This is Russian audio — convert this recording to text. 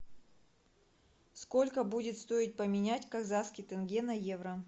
сколько будет стоить поменять казахский тенге на евро